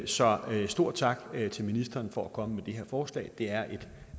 så en stor tak til ministeren for at komme med det her forslag det er et